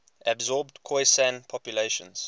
absorbed khoisan populations